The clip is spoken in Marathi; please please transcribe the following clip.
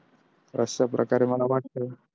अशा प्रकारे मला वाटतं.